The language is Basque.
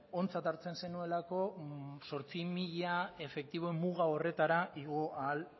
ontzat hartzen zenuelako zortzi mila efektibo muga horretara igo ahal